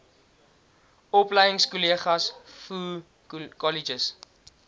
opleingskolleges voo kolleges